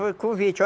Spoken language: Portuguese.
Foi convite.